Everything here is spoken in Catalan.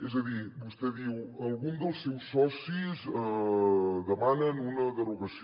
és a dir vostè diu alguns dels seus socis demanen una derogació